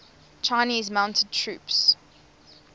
chinese mounted troops